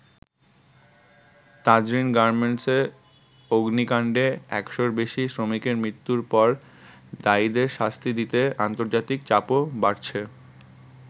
তাজরীন গার্মেন্টসে অগ্নিকান্ডে একশ’র বেশি শ্রমিকের মৃত্যুর পর দায়ীদের শাস্তি দিতে আন্তর্জাতিক চাপও বাড়ছে।